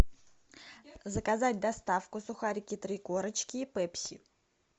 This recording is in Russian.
заказать доставку сухарики три корочки и пепси